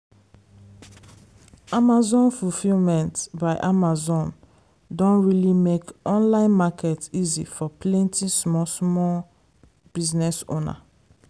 amazon fulfilment by amazon don really make online market easy for plenty small small business owner.